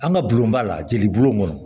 An ka bulon b'a la jeli bulon ŋɔnɔ